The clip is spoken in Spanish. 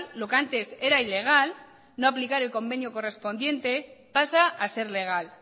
lo que antes era ilegal no aplicar el convenio correspondiente pasa a ser legal